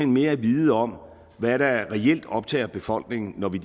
mere at vide om hvad der reelt optager befolkningen når vi